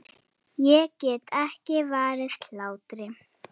Ég get ekki varist hlátri.